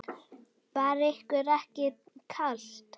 Var ykkur ekki kalt?